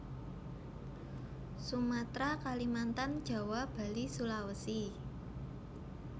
Sumatera Kalimantan Jawa Bali Sulawesi